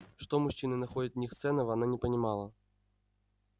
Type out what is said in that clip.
что мужчины находят в них ценного она не понимала